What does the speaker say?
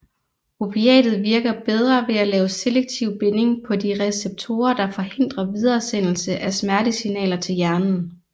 Opiatet virker bedre ved at lave selektiv binding på de receptorer der forhindrer videresendelse af smertesignaler til hjernen